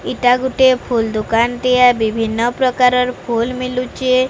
ଏଇଟା ଗୋଟେ ଫୁଲ ଦୋକାନ ଟିଏ ବିଭିନ୍ନପ୍ରକାର ଫୁଲ ମିଳୁଚେ।